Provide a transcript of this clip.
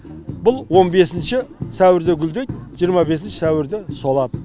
бұл он бесінші сәуірде гүлдейді жиырма бесінші сәуірде солады